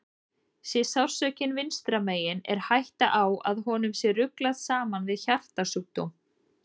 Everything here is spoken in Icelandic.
Sé sársaukinn vinstra megin er hætta á að honum sé ruglað saman við hjartasjúkdóm.